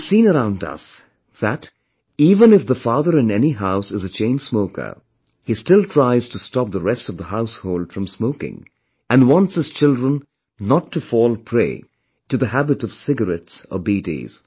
We have seen around us, that, even if the father in any house is a chain smoker, still he tries to stop the rest of the household from smoking and wants his children not to fall prey to the habit of cigarettes or bidis